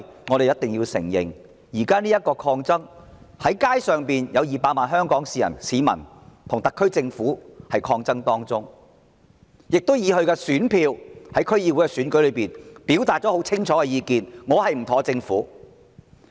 我們必須承認，現時的抗爭並未結束，有200萬曾經上街的香港市民正與特區政府抗爭，並以其選票在區議會選舉中表達了清楚意願，表明不滿政府。